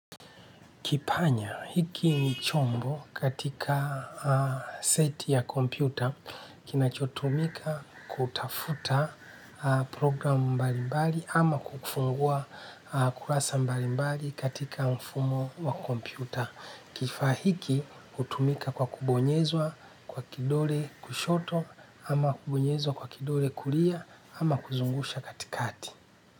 Kipanya hiki ni chombo katika seti ya kompyuta kinachotumika kutafuta programu mbali mbali ama kufungua kurasa mbali mbali katika mfumo wa kompyuta. Kifaa hiki kutumika kwa kubonyezwa kwa kidole kushoto ama kubonyezwa kwa kidole kulia ama kuzungusha katikati.